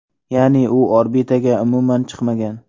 Ya’ni u orbitaga umuman chiqmagan.